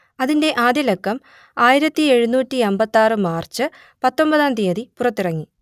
അതിന്റെ ആദ്യലക്കം ആയിരത്തിയെഴുന്നൂറ്റിയമ്പത്തിയാറ് മാർച്ച് പത്തൊമ്പതാം തിയതി പുറത്തിറങ്ങി